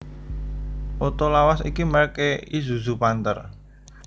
Oto lawas iki merk e Isuzu Panther